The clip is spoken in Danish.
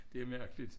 Det mærkeligt